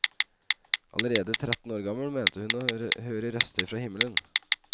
Allerede tretten år gammel mente hun å høre røster fra himmelen.